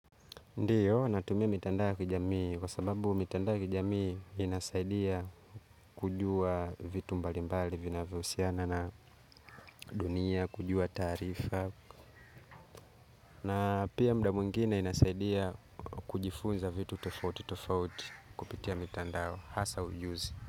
Ndio natumia mitandao ya kijamii kwa sababu mitandao ya kijamii inasaidia kujua vitu mbali mbali vinavyo husiana na dunia kujua taarifa na pia muda mwingine inasaidia kujifunza vitu tofauti tofauti kupitia mitandao hasa ujuzi.